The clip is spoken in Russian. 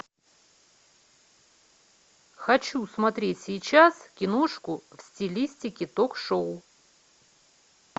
хочу смотреть сейчас киношку в стилистике ток шоу